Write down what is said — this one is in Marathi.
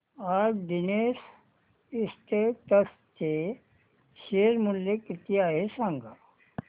आज नीतेश एस्टेट्स चे शेअर मूल्य किती आहे सांगा